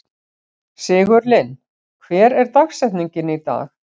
Sigurlinn, hver er dagsetningin í dag?